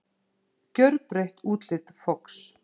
Gjörbreytt útlit Fox